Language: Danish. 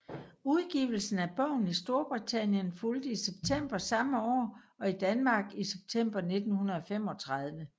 Udgivelsen af bogen i Storbritannien fulgte i september samme år og i Danmark i september 1935